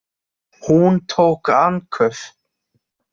Hún tók andköf.